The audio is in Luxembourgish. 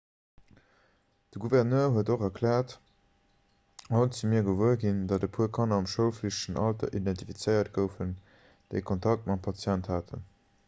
de gouverneur huet och erkläert haut si mir gewuer ginn datt e puer kanner am schoulflichtegen alter identifizéiert goufen déi kontakt mam patient haten